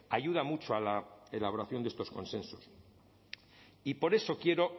ayuda mucho a la elaboración de estos consensos y por eso quiero